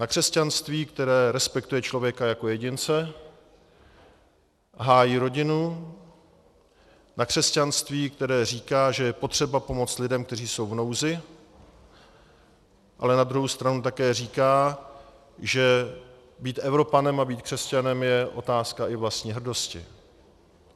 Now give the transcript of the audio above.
Na křesťanství, které respektuje člověka jako jedince, hájí rodinu, na křesťanství, které říká, že je potřeba pomoct lidem, kteří jsou v nouzi, ale na druhou stranu také říká, že být Evropanem a být křesťanem je otázka i vlastní hrdosti.